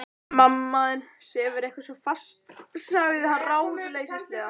Mamma þín sefur eitthvað svo fast sagði hann ráðleysislega.